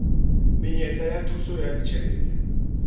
menyetla ya thuso ya ditjhelete